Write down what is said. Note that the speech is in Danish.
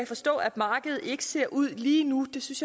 forstå at markedet ikke ser ud lige nu det synes